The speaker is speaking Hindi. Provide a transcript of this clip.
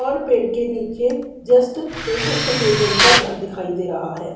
और पेड़ के नीचे जस्ट एक सफेद रंग का घर दिखाई दे रहा है।